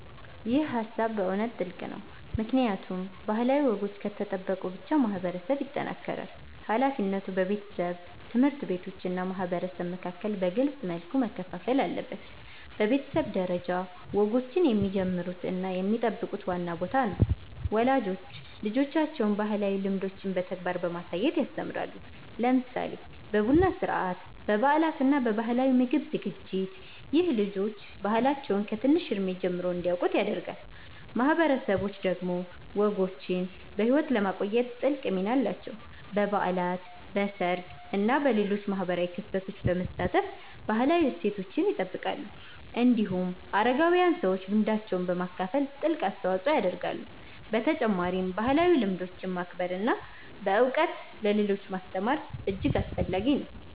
ይህ ሃሳብ በእውነት ጥልቅ ነው፣ ምክንያቱም ባህላዊ ወጎች ከተጠበቁ ብቻ ማህበረሰብ ይጠናከራል። ሃላፊነቱ በቤተሰብ፣ ትምህርት ቤቶች እና ማህበረሰብ መካከል በግልጽ መልኩ መከፋፈል አለበት። በቤተሰብ ደረጃ፣ ወጎችን የሚጀምሩት እና የሚጠብቁት ዋና ቦታ ነው። ወላጆች ልጆቻቸውን ባህላዊ ልምዶችን በተግባር በማሳየት ያስተምራሉ፣ ለምሳሌ በቡና ሥርዓት፣ በበዓላት እና በባህላዊ ምግብ ዝግጅት። ይህ ልጆች ባህላቸውን ከትንሽ እድሜ ጀምሮ እንዲያውቁ ያደርጋል። ማህበረሰቦች ደግሞ ወጎችን በሕይወት ለማቆየት ትልቅ ሚና አላቸው። በበዓላት፣ በሰርግ እና በሌሎች ማህበራዊ ክስተቶች በመሳተፍ ባህላዊ እሴቶችን ይጠብቃሉ። እንዲሁም አረጋዊያን ሰዎች ልምዳቸውን በማካፈል ትልቅ አስተዋጽኦ ያደርጋሉ። በተጨማሪም ባህላዊ ልምዶችን ማክበር እና በእውቀት ለሌሎች ማስተማር እጅግ አስፈላጊ ነው።